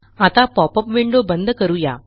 आता popup window बंद करू या